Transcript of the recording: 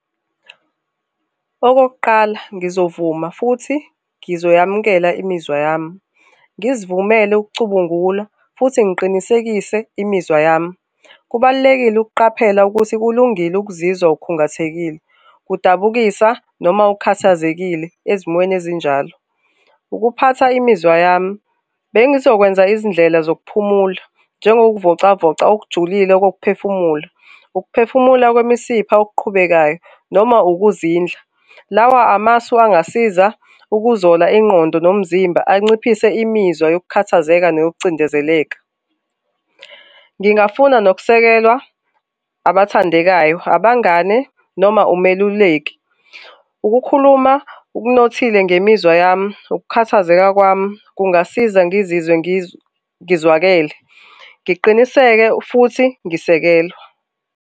Okokuqala, ngizovuma futhi ngizoyamukela imizwa yami, ngizivumele ukucubungula futhi ngiqinisekise imizwa yami. Kubalulekile ukuqaphela ukuthi kulungile ukuzizwa ukhungathekile, kudabukisa, noma ukhathazekile ezimweni ezinjalo. Ukuphatha imizwa yami, bengizokwenza izindlela zokuphumula njengokuvocavoca okujulile kokuphefumula, ukuphefumula kwemisipha okuqhubekayo noma ukuzindla, lawa amasu angasiza ukuzola ingqondo nomzimba anciphise imizwa yokukhathazeka neyokucindezeleka. Ngingafuna nokusekelwa abathandekayo, abangane, noma umeluleki, ukukhuluma okunothile ngemizwa yami ukukhathazeka kwami kungasiza ngizizwe ngizwakele, ngiqiniseke futhi ngisekelwa.